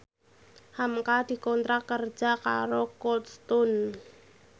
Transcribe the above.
hamka dikontrak kerja karo Cold Stone